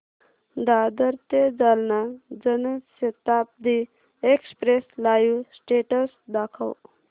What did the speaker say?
दादर ते Jalna Janshatabdi express live status दाखव